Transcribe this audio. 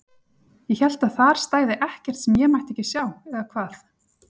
Ég hélt að þar stæði ekkert sem ég mætti ekki sjá, eða hvað?